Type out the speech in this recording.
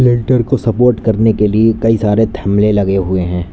को सपोर्ट करने के लिए कई सारे थमले लगे हुए है।